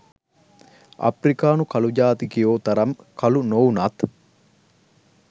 අප්‍රිකානු කළු ජාතිකයො තරම් කළු නොවුනත්.